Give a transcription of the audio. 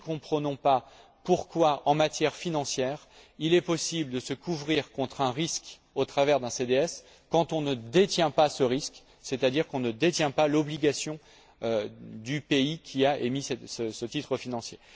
Nous ne comprenons pas pourquoi, en matière financière, il est possible de se couvrir contre un risque au travers d'un CDS quand on ne détient pas ce risque, c'est à dire qu'on ne détient pas l'obligation du pays qui a émis ce titre financier.